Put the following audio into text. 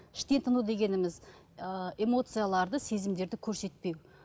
іштен тыну дегеніміз ыыы эмоцияларды сезімдерді көрсетпеу